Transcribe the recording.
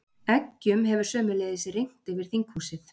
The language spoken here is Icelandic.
Eggjum hefur sömuleiðis rignt yfir þinghúsið